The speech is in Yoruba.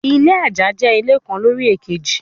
Ilé àjà jẹ́ ilé kan lórí èkejì.